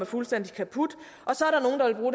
fuldstændig kaput og så